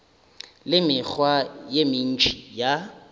le mekgwa ye mentši ya